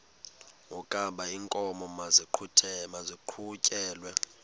wokaba iinkomo maziqhutyelwe